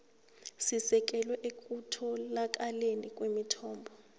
sisekelwe ekutholakaleni kwemithombo